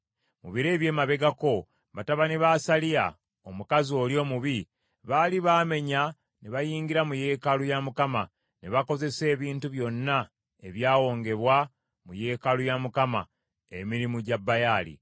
Mu biro eby’emabegako, batabani ba Asaliya, omukazi oli omubi, baali baamenya ne bayingira mu yeekaalu ya Mukama , ne bakozesa ebintu byonna ebyawongebwa mu yeekaalu ya Mukama , emirimu gya Baali.